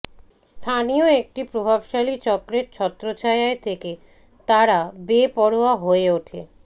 স্থানীয় একটি প্রভাবশালীচক্রের ছত্রচ্ছায়ায় থেকে তাঁরা বেপরোয়া হয়ে উঠে